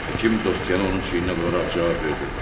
Həkim dostcanə onun çiyninə vuraraq cavab verdi.